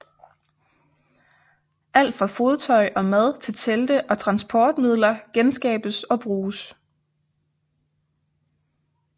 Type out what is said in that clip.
Alt fra fodtøj og mad til telte og transportmidler genskabes og bruges